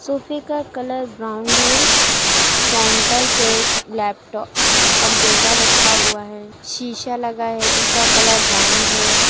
सोफ़े का colour brown है। काउंटर पे लैपटॉप कंप्यूटर रखा हुआ है। शीशा लगा है उसका कलर ब्राउन्ड है।